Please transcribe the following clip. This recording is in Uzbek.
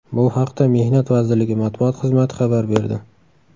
Bu haqda Mehnat vazirligi matbuot xizmati xabar berdi .